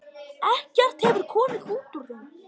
Ekkert hefur komið út úr þeim.